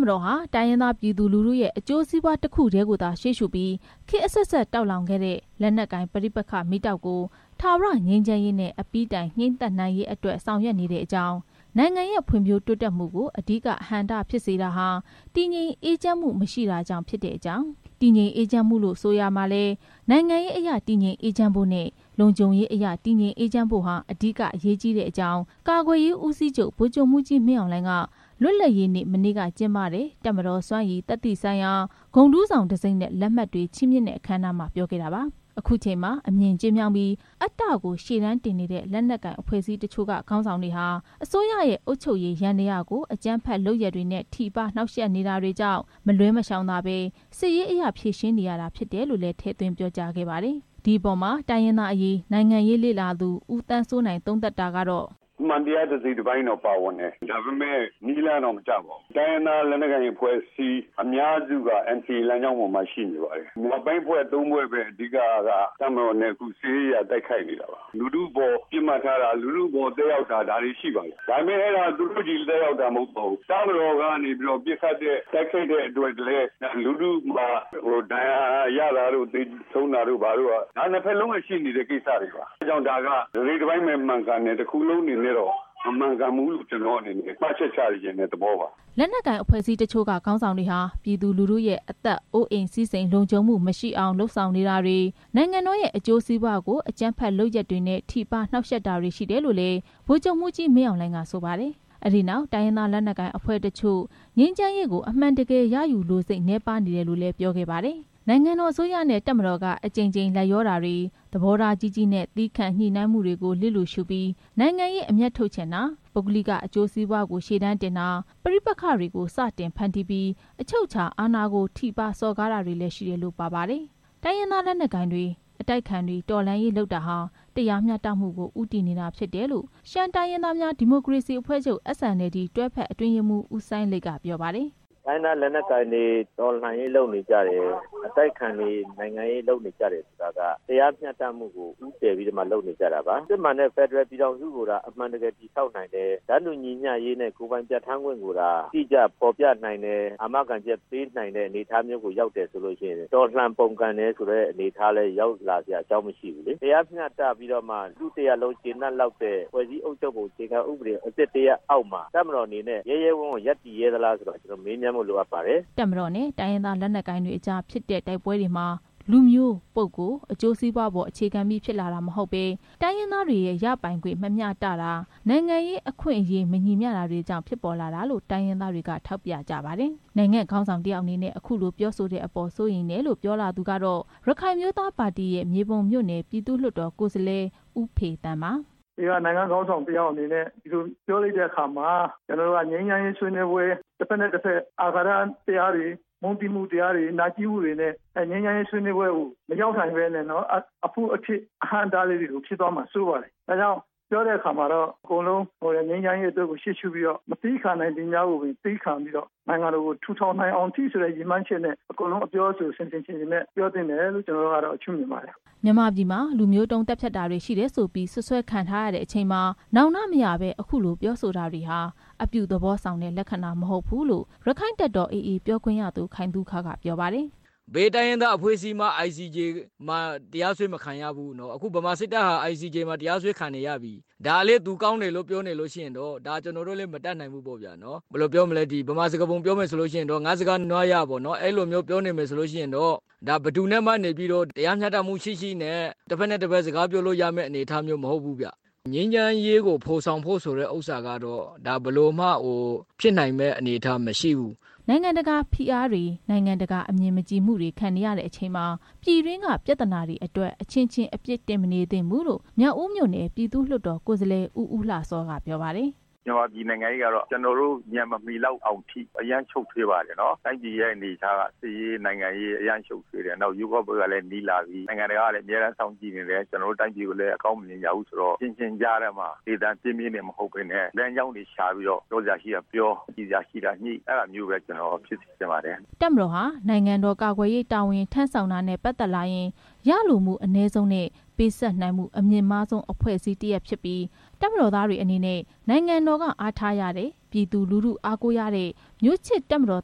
မတော်ဟာ တိုင်းရင်းသားပြည်သူလူထုရဲ့ အကျိုးစီးပွားတစ်ခုတည်းကိုသာ ရှေးရှုပြီး ခေတ်အဆက်ဆက် တောက်လောင်ခဲ့တဲ့ လက်နက်ကိုင်ပဋိပက္ခ မီးတောက်ကို ထာဝရ ငြိမ်းချမ်းရေးနဲ့ အပြီးတိုင် ငြှိမ်းသတ်နိုင်ရေး ဆောင်ရွက်နေကြောင်း၊ နိုင်ငံရဲ့ ဖွံ့ဖြိုးတိုးတက်မှုကို အဓိက အဟန့်အတားဖြစ်စေတာဟာ တည်ငြိမ်အေးချမ်းမှု မရှိခြင်းပဲဖြစ်ကြောင်း၊ တည်ငြိမ်အေးချမ်းမှုလို့ ဆိုရာမှာလည်း နိုင်ငံရေးအရ တည်ငြိမ်အေးချမ်းဖို့နဲ့ လုံခြုံရေးအရ တည်ငြိမ်အေးချမ်းဖို့ဟာ အဓိကအရေးကြီးကြောင်း ကာကွယ်ရေးဦးစီးချုပ် ဗိုလ်ချုပ်မှူးကြီး မင်းအောင်လှိုင်က လွတ်လပ်ရေးနေ့ မနေ့က ကျင်းပတဲ့ တပ်မတော်စွမ်းရည် သတ္တိဆိုင်ရာ ဂုဏ်ထူးဆောင်တံဆိပ်နဲ့ လက်မှတ်တွေ ချီးမြှင့်တဲ့ အခမ်းအနားမှာ ပြောခဲ့တာပါ။ အခုချိန်မှာ အမြင်ကျဉ်းမြောင်းပြီး အတ္တကိုရှေ့တန်းတင်နေတဲ့ လက်နက်ကိုင်အဖွဲ့အစည်းတချို့က ခေါင်းဆောင် တွေဟာ အစိုးရရဲ့ အုပ်ချုပ်ရေးယန္တရားကို အကြမ်းဖက်လုပ်ရပ်တွေနဲ့ ထိပါးနှောင့်ယှက်နေတာတွေကြောင့် မလွှဲမရှောင်သာဘဲ စစ်ရေးအရဖြေရှင်းနေရတာ ဖြစ်တယ်လို့လည်း ထည့်သွင်းပြောကြားခဲ့ပါတယ်။ ဒီအပေါ်မှာ တိုင်းရင်းသားအရေး၊ နိုင်ငံရေး လေ့လာသူ ဦးသန်းစိုးနိုင် က "အမှန်တရား တစိတ်တပိုင်းတော့ ပါဝင်တယ်။ ဒါပေမဲ့ နည်းလမ်း တော့ မကျပါဘူး။ တိုင်းရင်းသား လက်နက်ကိုင် အဖွဲ့အစည်း အများစုက NCA လမ်းကြောင်းပေါ်မှာ ရှိနေပါတယ်။ မြောက်ပိုင်း အဖွဲ့ သုံးဖွဲ့ပဲ တပ်မတော်နဲ့ စစ်ရေးအရ တိုက်ခိုက်နေတာပါ။ လူထုအပေါ် သက်ရောက်တာ၊ လူထုအပေါ် ပစ်မှတ်ထားတာတွေ ရှိပါတယ်။ ဒါပေမဲ့ သူတို့ချည်းပဲ သက်ရောက်တာ မဟုတ်ပါဘူး။ တပ်မတော်က တိုက်ခိုက်တဲ့အတွက်လည်း ဒဏ်ရာရတာ၊ သေဆုံး တာတွေက နှစ်ဖက်စလုံးမှာရှိနေတာပဲ။ ဒ့ါကြောင့် တစိတ်တပိုင်း မှန်တယ်။ တစ်ခုလုံးမမှန်ဘူးလို့ မှတ်ချက်ချတဲ့သဘောပါ" လို့ သုံးသပ်ပါတယ်။ လက်နက်ကိုင်အဖွဲအစည်းတချို့က ခေါင်းဆောင်တွေဟာ ပြည်သူလူထုရဲ့ အသက်၊ အိုးအိမ်၊ စည်းစိမ်လုံခြုံမှု မရှိအောင် လုပ်ဆောင်နေတာတွေ၊ နိုင်ငံတော်ရဲ့ အကျိုးစီးပွားကို အကြမ်းဖက်လုပ်ရပ်တွေနဲ့ ထိပါးနှောင့်ယှက် နေတာတွေ ရှိတယ်လို့လည်း ဗိုလ်ချုပ်မှူးကြီး မင်းအောင်လှိုင်က ဆိုပါတယ်။ အဲဒီနောက် တိုင်းရင်းသား လက်နက်ကိုင်အဖွဲ့တချို့ ငြိမ်းချမ်းရေးကို အမှန်တကယ်ရယူလိုစိတ် နည်းပါးနေတယ် လို့လည်း ပြောခဲ့တာပါ။ နိုင်ငံတော်အစိုးရနဲ့ တပ်မတော်က အကြိမ်ကြိမ် လိုက်လျောတာတွေ၊ သဘောထား ကြီးကြီးနဲ့ သည်းခံညှိနှိုင်းမှုတွေကို လျစ်လျူရှုပြီး နိုင်ငံရေးအမြတ်ထုတ်ချင်တာ၊ ပုဂ္ဂလိကအကျိုးစီးပွားကို ရှေ့တန်းတင်တာ၊ ပဋိပက္ခတွေကို စတင်ဖန်တီးပြီး အချုပ်အခြာအာဏာကို ထိပါးစော်ကားတာတွေလည်း ရှိတယ်လို့ ပါပါတယ်။ တိုင်းရင်းသား လက်နက်ကိုင်တွေ၊ အတိုက်အခံတွေက တော်လှန်ရေးလုပ်နေတာဟာ တရားမျှတမှုကို ဦးတည်နေတာ ဖြစ်တယ်လို့ ရှမ်းတိုင်းရင်းသားများ ဒီမိုကရေစီအဖွဲ့ချုပ် SNLD တွဲဖက်အတွင်းရေးမှူး ဦးစိုင်းလိတ်က ပြောပါတယ်။ “တိုင်းရင်းသား လက်နက်ကိုင်တွေ တော်လှန်ရေးလုပ်တယ်။ အတိုက်ခံတွေ နိုင်ငံရေးလုပ်တယ်ဆိုတာက တရားမျှတမှုကို ဦးတည်ပြီးလုပ်နေတာပါ။ စစ်မှန်တဲ့ ဖက်ဒရယ်ပြည်ထောင်စုကို အမှန်တကယ်တည်ဆောက်နိုင်တယ်။ တန်းတူညီမျှရေးနဲ့ ကိုယ်ပိုင်ပြဌာန်းခွင့်ကိုသာ အတိကျဖော်ပြနိုင်တယ်ဆိုရင် တော်လှန်ပုန်ကန်တဲ့ အကြောင်းကိုရောက်လာစရာ မရှိဘူးလေ။ တရားမျှတပြီးတော့မှ လူထုတရပ်လုံး ကျေနပ်လောက်တဲ့ ဖွဲ့စည်းအုပ်ချုပ်ပုံ အခြေခံဥပဒေအသစ်အောက်မှာ တပ်မတော်အနေနဲ့ ရဲရဲဝံ့ဝံ့ရပ်တည်ရဲသလားလို့ မေးမြန်းဖို့ လိုအပ်ပါတယ်“ တပ်မတော်နဲ့ တိုင်းရင်းသား လက်နက်ကိုင်တွေအကြားဖြစ်တဲ့ တိုက်ပွဲတွေမှာ လူမျိုး၊ ပုဂ္ဂိုလ်၊ အကျိုးစီးပွားအပေါ် အခြေခံပြီး ဖြစ်လာတာမဟုတ်ဘဲ တိုင်းရင်းသားတွေရဲ့ ရပိုင်ခွင့် မမျှတတာ၊ နိုင်ငံရေးအခွင့်အရေး မညီမျှတာ တွေကြောင့် ဖြစ်ပေါ်လာတာလို့ တိုင်းရင်းသားတွေက ထောက်ပြကြပါတယ်။ နိုင်ငံ့ခေါင်းဆောင် တစ်ယောက်အနေနဲ့ အခုလို ပြောဆိုတဲ့အပေါ် စိုးရိမ်တယ်လို့ ပြောလာသူက ရခိုင်အမျိုးသား ပါတီရဲ့ မြေပုံမြို့နယ် ပြည်သူ့လွှတ်တော် ကိုယ်စားလှယ် ဦးဖေသန်း ပါ။ “နိုင်ငံ့ခေါင်းဆောင် တစ်ယောက်အနေနဲ့ အခုလို ပြောဆိုလိုက်တဲ့အခါမှာ တစ်ဖက်နဲ့တစ်ဖက် မုန်းတီးမှုတွေနဲ့ ငြိမ်းချမ်းရေးဆွေးနွေးပွဲကို မရောက်နိုင်ဘဲ အဖုအထစ်တွေ၊ အဟန့်အတားတွေ ဖြစ်သွားမှာစိုးပါတယ်။ ငြိမ်းချမ်းရေးအတွက် ရှေးရှုပြီးတော့ မသည်းခံနိုင်သည်များကို သည်းခံပြီးတော့ နိုင်ငံတော်ကို တည်ထောင်နိုင်တဲ့အထိ အကုန်လုံး အပြောအဆိုဆင်ဆင်ခြင်ခြင်နဲ့ ပြောသင့်တယ်လို့ ရှုမြင်ပါတယ်“ မြန်မာပြည်မှာ လူမျိုးတုံးသတ်ဖြတ်တာတွေရှိတယ်ဆိုပြီး စွပ်စွဲခံထားရတဲ့အချိန်မှာ နောင်တမရဘဲ အခုလို ပြောဆိုတာတွေဟာ အပြုသဘောဆောင်တဲ့ လက္ခဏာမဟုတ်ဘူးလို့ ရက္ခိုင့်တပ်တော် AA ပြောခွင့်ရသူ ခိုင်သုခက ပြောပါတယ်။ "ဘယ်တိုင်းရင်းသား လက်နက်ကိအဖွဲ့ကမှ ICJ မှာ တရားစွဲ မခံရဘူးနော်။ ဗမာစစ်တပ်က တရားစွဲခံနေရပြီ။ ဒါကိုလည်း သူကောင်းတယ်လို့ပြောနေရင်တော့ မတတ်နိုင်ဘူးပေါ့ဗျာ။ မြန်မာစကားပုံလို ငါ့စကားနွားရ ပြောနေမယ်ဆိုရင်တော့ ဘယ်သူနဲ့မှ တရားမျှတမှု ရှိရှိနဲ့ တဖက်နဲ့တဖက် စကားပြောလို့ ရမယ့်အနေထား မဟုတ်ဘူးဗျ။ ငြိမ်းချမ်းရေးကို ဖော်ဆောင်မယ် ဆိုတာတော့ ဘယ်လိုမှဖြစ်နိုင်မယ့် အနေထားမရှိဘူး" နိုင်ငံတကာဖိအားတွေ၊ နိုင်ငံတကာနဲ့ အမြင်မကြည်မှုတွေ ခံနေရချိန်မှာ ပြည်တွင်းက ပြဿနာအတွက် အချင်းချင်း အပြစ်တင်မနေသင့်ဘူးလို့ မြောက်ဦးမြို့နယ် ပြည်သူ့လွှတ်တော် ကိုယ်စားလှယ် ဦးဦးလှစော က ပြောပါတယ်။ “ မြန်မာပြည်နိုင်ငံရေးက ကျနော်တို့ ဉာဏ်မမီလောက်တဲ့အထိ အရမ်းရှုပ်ထွေးတယ်။ တိုင်းပြည်ရဲ့ အနေထားက စစ်ရေးရော နိုင်ငံရေးရော အရမ်းရှုပ်ထွေးတယ်။ ရွေးကောက်ပွဲကလည်း နီးလာပြီ။ နိုင်ငံတကာကလည်း စောင့်ကြည့်နေတယ်။ ကျနော်တို့ တိုင်းပြည်ကို အကောင်းမမြင်ကြဘူးဆိုတော့ ကျနော်တို့ အချင်းချင်းကြားထဲမှာ လေသံပြင်းပြင်းတွေ မဟုတ်ဘဲ လမ်းကြောင်းတွေ ရှာပြီးတော့ ပြောစရာရှိတာပြော ညှိစရာရှိတာညှိ အဲဒါမျိုးပဲ ဖြစ်စေချင်ပါတယ်“ တပ်မတော်ဟာ နိုင်ငံတော်ကာကွယ်ရေးတာဝန် ထမ်းဆောင်တာနဲ့ ပတ်သက်လာရင် ရလိုမှုအနည်းဆုံးနဲ့ ပေးဆပ်နိုင်မှုအမြင့်မားဆုံး အဖွဲ့အစည်းတစ်ရပ်ဖြစ်ပြီး တပ်မတော်သားတွေအနေနဲ့ နိုင်ငံတော်က အားထားရတဲ့ ပြည်သူလူထုက အားကိုးရတဲ့ မျိုးချစ်တပ်မတော်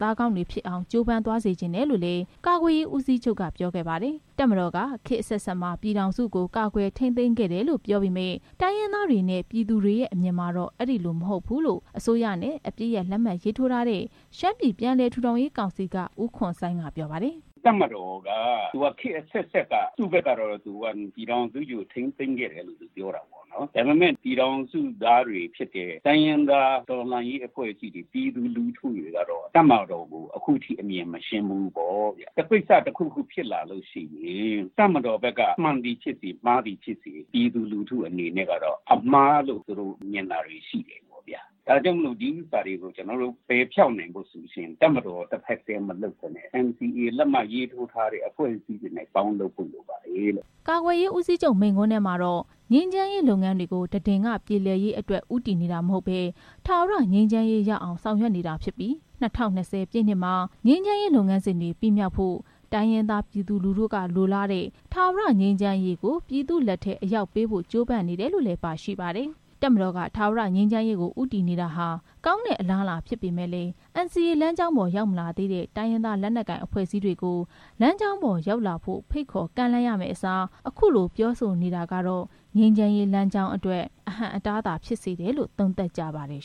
သားကောင်းတွေဖြစ်အောင် ကြိုးပမ်းသွားစေချင်တယ်လို့လည်း ကာကွယ်ရေးဦးစီးချုပ်က ပြောခဲ့ပါတယ်။ တပ်မတော်က ခေတ်အဆက်ဆက်မှာ ပြည်ထောင်စုကို ကာကွယ်ထိမ်းသိမ်းခဲ့တယ်လို့ ပြောနေပေမယ့် တိုင်းရင်းသားတွေနဲ့ ပြည်သူတွေရဲ့ အမြင်ကတော့ အဲဒီလိုမဟုတ်ကြောင်း အစိုးရနဲ့ အပစ်ရပ်လက်မှတ်ထိုးထားတဲ့ ရှမ်းပြည်ပြန်လည်ထူထောင်ရေးကောင်စီက ဦးခွန်ဆိုင်းက ပြောပါတယ်။ “တပ်မတော်က ခေတ်အဆက်ဆက်မှာ ပြည်ထောင်စုကြီးကို ထိန်းသိမ်းခဲ့တယ်လို့ ပြောတာပေါ့နော်။ ဒါပေမဲ့ တိုင်းရင်းသား တော်လှန်ရေးအဖွဲ့အစည်းတွေ၊ ပြည်သူလူထုတွေက တပ်မတော်ကို အခုထိအမြင်မရှင်းဘူး။ ကိစ္စတစ်ခုခုဖြစ်လာရင် တပ်မတော်က မှန်သည်ဖြစ်စေ၊ မှားသည်ဖြစ်စေ၊ ပြည်သူလူထုအနေနဲ့ အမှားလို့ မြင်တာတွေ ရှိတာပေါ့ဗျာ။ ဒါတွေကို ပယ်ဖျောက်နိုင်ဖို့ဆိုရင် တပ်မတော်တဖက်တည်း မလုပ်ဘဲနဲ့ NCA လက်မှတ်ထိုးထားတဲ့ အဖွဲ့တွေနဲ့ပေါင်းလုပ်ဖို့ လိုပါတယ်“ ကာကွယ်ရေးဦးစီးချုပ် မိန့်ခွန်းထဲမှာတော့ ငြိမ်းချမ်းရေးလုပ်ငန်းတွေကို တဒင်္ဂပြေလည်ရေးအတွက် ဦးတည်နေတာမဟုတ်ဘဲ ထာဝရငြိမ်းချမ်းရေးရအောင် ဆောင်ရွက်နေတာဖြစ်ပြီး ၂၀၂၀ ပြည့်နှစ်မှာ ငြိမ်းချမ်းရေးလုပ်ငန်းစဉ်တွေ ပြီးမြောက်ဖို့၊ တိုင်းရင်းသား ပြည်သူလူထုကလိုလားတဲ့ ထာဝရငြိမ်းချမ်းရေးကို ပြည်သူ့လက်ထဲ အရောက်ပို့ပေးဖို့ ကြိုးပမ်းနေတယ်လု့ိလည်း ပါရှိပါတယ်။ တပ်မတော်က ထာဝရငြိမ်းချမ်းရေးကို ဦးတည်နေတာဟာ ကောင်းတဲ့အလားအလာ ဖြစ်ပေမယ့်လည်း NCA လမ်းကြောင်းပေါ် ရောက်မလာသေးတဲ့ တိုင်းရင်းသား လက်နက်ကိုင် အဖွဲ့အစည်းတွေကို လမ်းကြောင်းပေါ် ရောက်လာဖို့ ဖိတ်ခေါ်ကမ်းလှမ်းရမယ့်အစား အခုလို ပြောဆိုနေတာကတော့ ငြိမ်းချမ်းရေးလမ်းကြောင်းအတွက် အဟန့်အတားသာ ဖြစ်စေတယ်လို့ သုံးသပ်ကြပါတယ်